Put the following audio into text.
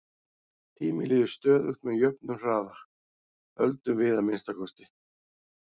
Tíminn líður stöðugt með jöfnum hraða, höldum við að minnsta kosti.